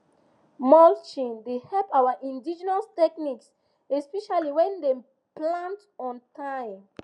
mulching dey help our indigenous techniques especially when dem plant on time